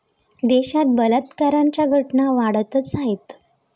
देशात बलात्काराच्या घटना वाढतच आहेत.